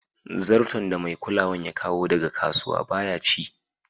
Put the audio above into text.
Zarton da mai kulawan ya kawo daga kasuwa baya ci.